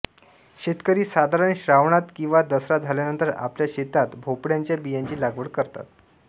शेतकरी साधारण श्रावणात किंवा दसरा झाल्यानंतर आपल्या शेतात भोपळ्याच्या बियांची लागवड करतात